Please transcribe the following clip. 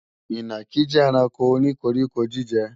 Ìnàkí jẹ́ ẹranko o ní koríko-jíjẹ